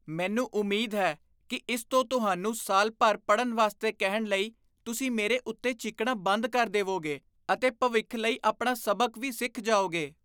ਮੈਨੂੰ ਉਮੀਦ ਹੈ ਕਿ ਇਸ ਤੋਂ ਤੁਹਾਨੂੰ ਸਾਲ ਭਰ ਪੜ੍ਹਨ ਵਾਸਤੇ ਕਹਿਣ ਲਈ ਤੁਸੀਂ ਮੇਰੇ ਉੱਤੇ ਚੀਕਣਾ ਬੰਦ ਕਰ ਦੇਵੋਗੇ ਅਤੇ ਭਵਿੱਖ ਲਈ ਆਪਣਾ ਸਬਕ ਵੀ ਸਿੱਖ ਜਾਓਗੇ।